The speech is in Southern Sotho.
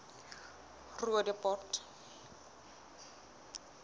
roodepoort